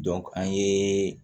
an ye